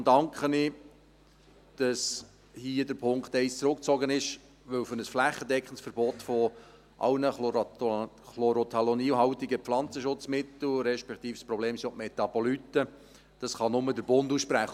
Und deshalb danke ich, dass hier der Punkt 1 zurückgezogen ist, denn ein flächendeckendes Verbot aller chlorothalonilhaltige Pflanzenschutzmittel – respektive ein Problem sind auch die Metaboliten – kann nur der Bund aussprechen.